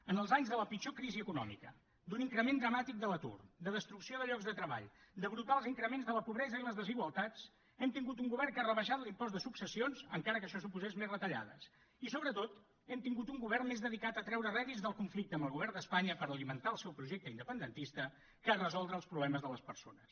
en els anys de la pitjor crisi econòmica d’un increment dramàtic de l’atur de destrucció de llocs de treball de brutals increments de la pobresa i les desigualtats hem tingut un govern que ha rebaixat l’impost de successions encara que això suposés més retallades i sobretot hem tingut un govern més dedicat a treure rèdits del conflicte amb el govern d’espanya per alimentar el seu projecte independentista que a resoldre els problemes de les persones